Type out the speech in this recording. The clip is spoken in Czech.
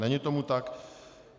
Není tomu tak.